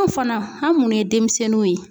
Anw fana an' munnu ye demisɛnninw ye